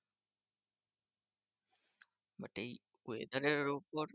But এই weather এর ওপর